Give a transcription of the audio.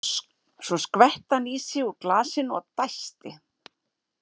Svo skvetti hann í sig úr glasinu og dæsti.